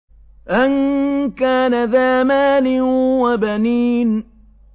أَن كَانَ ذَا مَالٍ وَبَنِينَ